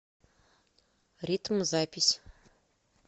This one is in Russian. ритм запись